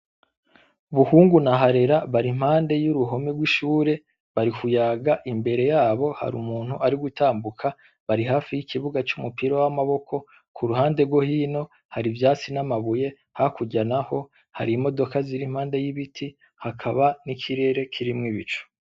Buhungu na Harera bari impande y'uruhome rw'ishure bari kuyaga, imbere yabo hari umuntu ari gutambuka, bari hafi y'ikibuga c'umupira w'amaboko, ku ruhande rwo hino hari ivyatsi n'amabuye, hakurya naho hari imodoka ziri impande y'ibiti, hakaba n'ikirere kirimwo ibicu.